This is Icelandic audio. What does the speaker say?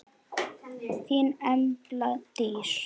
Þín Embla Dís.